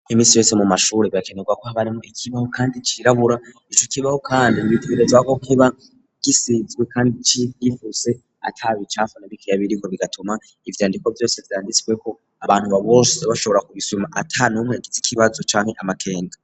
Imisi yose mu mashure birakenerwa ko habaremo ikibaho kandi cirabura icu kibaho kandi bitebereza ko kiba gisizwe kandi yifuse atabicafana bikeyabiriko bigatuma ivyandiko byose zyanditswe ko abantu babose bashobora kubisubima atanumwe agize ikibazo cane amakenga.